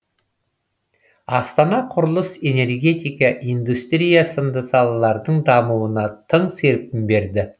астана құрылыс энергетика индустрия сынды салалардың дамуына тың серпін берді